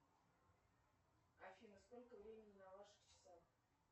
афина сколько времени на ваших часах